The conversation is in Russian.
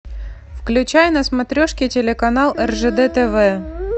включай на смотрешке телеканал ржд тв